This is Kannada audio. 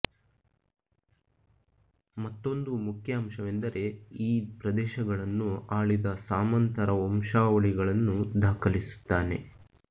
ಮತ್ತೊಂದು ಮುಖ್ಯ ಅಂಶವೆಂದರೆ ಈ ಪ್ರದೇಶಗಳನ್ನು ಆಳಿದ ಸಾಮಂತರ ವಂಶಾವಳಿಗಳನ್ನು ದಾಖಲಿಸುತ್ತಾನೆ